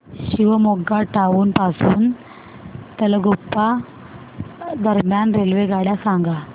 Shivamogga town पासून तलगुप्पा दरम्यान रेल्वेगाड्या सांगा